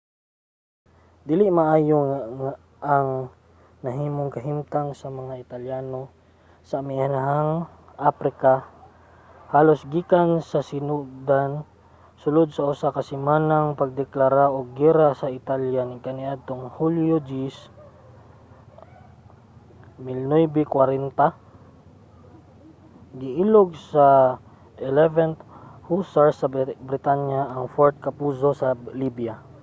dili maayo ang nahimong kahimtang sa mga italyano sa amihanang aprika halos gikan sa sinugdan. sulod sa usa ka semanang pagdeklara og giyera sa italya kaniadtong hunyo 10 1940 giilog sa 11th hussars sa britanya ang fort capuzzo sa libya